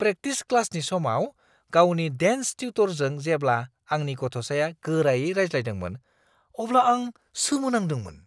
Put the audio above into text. Practice क्लासनि समाव गावनि डेन्स टिउटरजों जेब्ला आंनि गथ'साया गोरायै रायज्लायदोंमोन अब्ला आं सोमो नांदोंमोन।